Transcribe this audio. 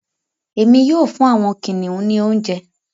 Èmi yóò fún àwọn kìnìún ní oúnjẹ.